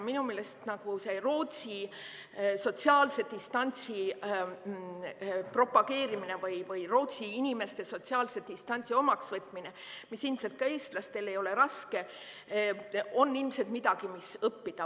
Minu meelest näiteks Rootsi sotsiaalse distantsi propageerimine või Rootsi inimeste sotsiaalse distantsi omaksvõtmine, mis ilmselt ka eestlastele ei ole raske, on midagi, millest õppida.